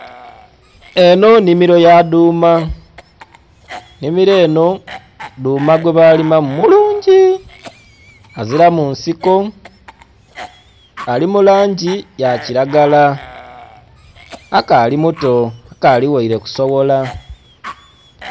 Enho nnhimiro ya duuma. Nnhimiro enho duuma gwe balimamu mulungi. Aziramu nsiko, ali mu langi ya kilagala. Akaali muto akaali ghaile kusoghola.